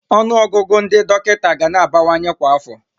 Ọnụọgụgụ ndị dọkịta ga na-abawanye kwa afọ.